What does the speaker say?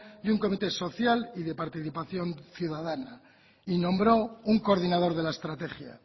y un comité social y de participación ciudadana y nombró un coordinador de la estrategia